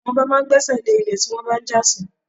Àwọn ọba máa ń gbésẹ̀ lé ilẹ̀ tí wọ́n bá ń jà sí.